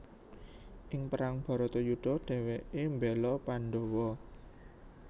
Ing perang Bharatayudha dhèwèké mbéla Pandawa